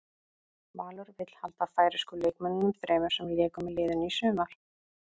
Valur vill halda færeysku leikmönnunum þremur sem léku með liðinu í sumar.